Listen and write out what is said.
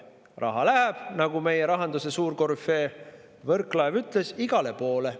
Raha läheb, nagu meie rahanduse suurkorüfee Võrklaev ütles, igale poole.